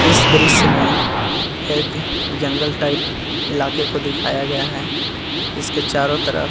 इस दृश्य में एक जंगल टाइप इलाके को दिखाया गया है इसके चारो तरफ --